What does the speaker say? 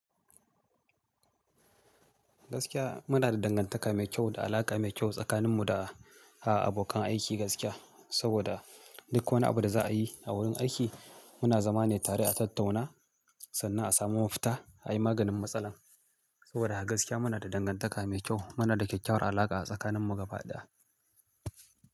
Gaskiya muna da dangantaka mai kyau, da alaƙa mai kyau tsakaninmu da, ah abokan aiki gaskiya. Saboda, duk wani abu da za a yi a wurin aiki, muna zama ne tare a tattauna, sannan a samu mafita, a yi maganin matsalar. Saboda a gaskiya muna da dangantaka mai kyau. Muna da kyakkyawar alaƙa a tsakanin mu gaba ɗaya.